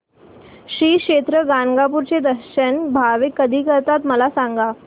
श्री क्षेत्र गाणगापूर चे दर्शन भाविक कधी करतात मला सांग